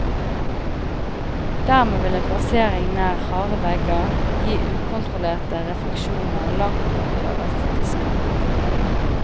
Dermed vil en plassering nær harde vegger gi ukontrollerte refleksjoner langt opp i øverste diskant.